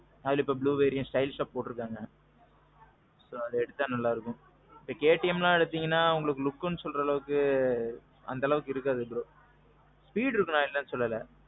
அதுலேயும் blue variant stylishஅ போட்டிருக்காங்க. extra நல்லா இருக்கும். KTM எல்லாம் எடுத்தீங்கனா உங்களுக்கு lookனு சொல்ற அளவுக்கு அந்த அளவுக்கு இருக்காது bro. speed இருக்கும் நான் இல்லேன்னு சொல்லல.